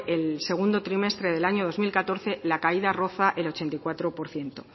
el segundo trimestre del año dos mil catorce la caída roza el ochenta y cuatro por ciento